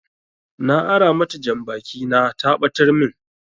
Na ara mata janbaki na ta ɓatar min